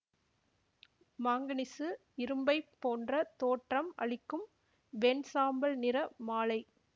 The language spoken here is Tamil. மாங்கனீசு இரும்பைப் போன்ற தோற்றம் அளிக்கும் வெண்சாம்பல் நிற மாழை